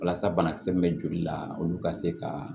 Walasa banakisɛ min bɛ joli la olu ka se ka